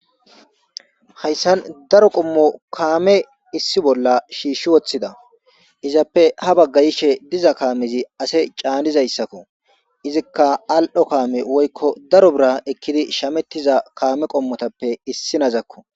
Haysan daro qommo kaame issi bolla shish wothida izappe ha baga hishe diza kaamezi ase caanizaysako izika al'o kaame woyko daro bira ekidi shametiza kaame qommotappe issinazako.